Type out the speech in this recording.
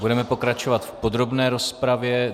Budeme pokračovat v podrobné rozpravě.